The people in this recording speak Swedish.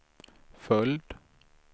följd